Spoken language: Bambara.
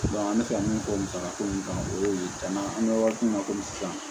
an bɛ fɛ ka min fɔ musakako in kan o ye cɛn an bɛ waati min na komi sisan